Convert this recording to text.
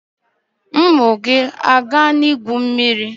Ụmụ gị agaala igwu mmiri?